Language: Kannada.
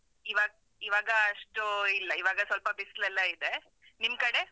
ಇವ~ ಇವಾಗ ಅಷ್ಟು ಇಲ್ಲ, ಇವಾಗ ಸ್ವಲ್ಪ ಬಿಸ್ಲೆಲ್ಲ ಇದೆ, ನಿಮ್ಕಡೆ?